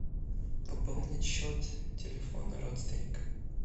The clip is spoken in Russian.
пополнить счет телефона родственника